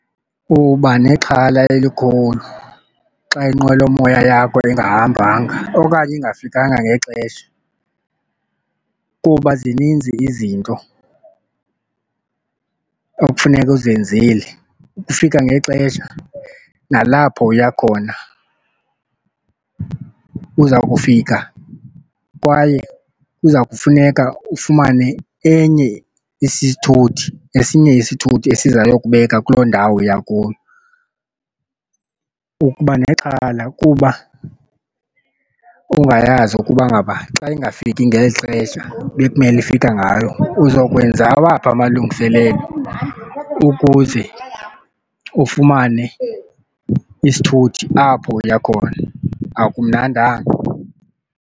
Uba nexhala elikhulu xa inqwelomoya yakho ingahambanga okanye ingafikanga ngexesha kuba zininzi izinto ekufuneka uzenzile, ukufika ngexesha nalapho uyakhona. Uza kufika kwaye kuza kufuneka ufumane enye isithuthi esinye isithuthi esiza yokubeka kuloo ndawo uya kuyo. Ukuba nexhala kuba ungayazi ukuba ngaba xa ingafiki ngeli xesha bekumele ifika ngayo uzokwenza awaphi amalungiselelo ukuze ufumane isithuthi apho uya khona. Akumnandanga.